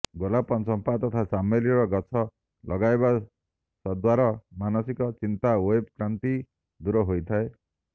ଗୋଲାପ ଚମ୍ପା ତଥା ଚମେଲି ର ଗଛ ଲଗାଇବା ସଦ୍ୱାରା ମାନସିକ ଚିନ୍ତା ୱେବ କ୍ଲାନ୍ତି ଦୂର ହୋଇଥାଏ